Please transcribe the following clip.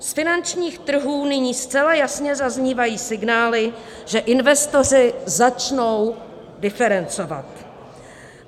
Z finančních trhů nyní zcela jasně zaznívají signály, že investoři začnou diferencovat.